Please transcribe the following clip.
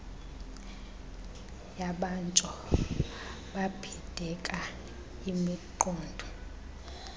yabatsho babhideka imiqondo